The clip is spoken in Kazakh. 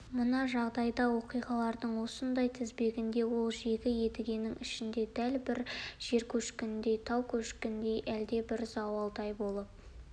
мына жағдайда оқиғалардың осындай тізбегінде ол жегі едігенің ішіне дәл бір жер көшкініндей тау көшкініндей әлдебір зауалдай болып